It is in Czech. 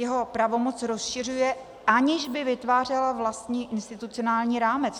Jeho pravomoc rozšiřuje, aniž by vytvářela vlastní institucionální rámec.